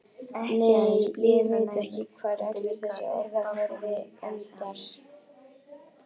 Nei, ég veit ekki hvar allur þessi orðaforði endar.